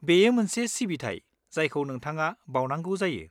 -बेयो मोनसे सिबिथाय जायखौ नोंथाङा बाउनांगौ जायो।